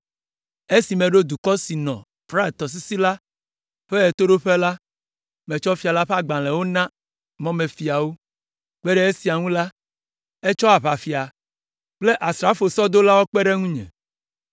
Esi meɖo dukɔ siwo nɔ Frat Tɔsisi la ƒe ɣetoɖoƒe la, metsɔ fia la ƒe agbalẽwo na mɔmefiawo. Kpe ɖe esia ŋu la, etsɔ aʋafia kple asrafo sɔdolawo kpe ɖe ŋunye.